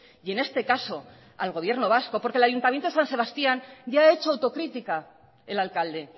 y en este caso al gobierno vasco porque el ayuntamiento de san sebastián ya ha hecho autocrítica el alcalde